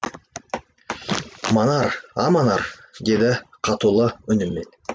манар а манар деді қатулы үнмен